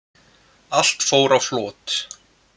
Allt fór á flot